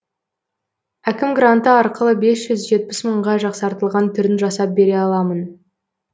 әкім гранты арқылы бес жүз жетпіс мыңға жақсартылған түрін жасап бере аламын